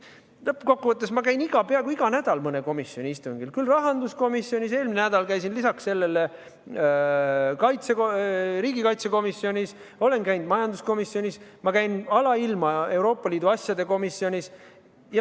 Lõppkokkuvõttes käin ma peaaegu igal nädalal mõnel komisjoni istungil: käin rahanduskomisjonis, eelmisel nädalal käisin lisaks sellele riigikaitsekomisjonis, olen käinud majanduskomisjonis, käin alailma Euroopa Liidu asjade komisjonis.